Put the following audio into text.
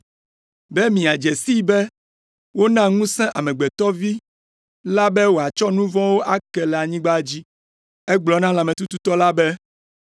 Be miadze sii be wona ŋusẽ Amegbetɔ Vi la be wòatsɔ nu vɔ̃ ake le anyigba dzi.” Egblɔ na lãmetututɔ la be,